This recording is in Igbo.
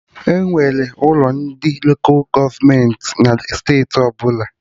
Enwere ụlọ ndị Lola gọọmenti na steeti ọbụla